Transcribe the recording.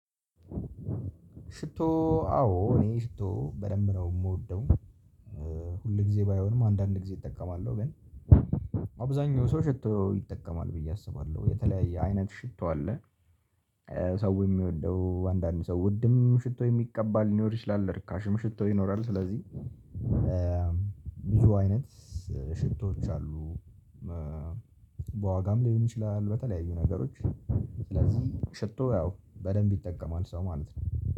ሽቶ አዎ እኔ ሽቶ በደንብ ነው የምወደው። ሁል ጊዜ ባይሆንም አንዳንድ ጊዜ እጠቀማለሁ ግን አብዛኛው ሰው ሽቶ ይጠቀማል ብዬ አስባለሁ የተለያየ አይነት ሽቶ አለ። ሰው የሚወደው አንዳንድ ሰው ውድም ሽቶ የሚቀባ ሊኖር ይችላል ርካሽም ሽቶ ይኖራል። ስለዚህ ብዙ አይነት ሽቶዎች አሉ። በዋጋም ሊሆን ይችላል በተለያዩ ነገሮች ስለዚህ ሽቶ ያው በደንብ ይጠቀማል ሰው ማለት ነው